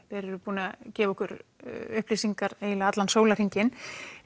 þeir eru búnir að gefa okkur upplýsingar eiginlega allan sólarhringinn